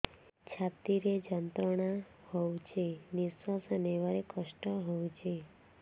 ଛାତି ରେ ଯନ୍ତ୍ରଣା ହଉଛି ନିଶ୍ୱାସ ନେବାରେ କଷ୍ଟ ହଉଛି